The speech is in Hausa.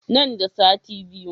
Nan da sati biyu.